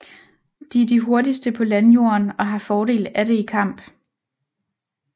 De er de hurtigste på landjorden og har fordel af det i kamp